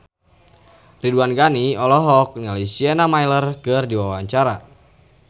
Ridwan Ghani olohok ningali Sienna Miller keur diwawancara